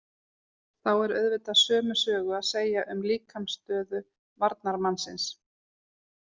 Þá er auðvitað sömu sögu að segja um líkamsstöðu varnarmannsins.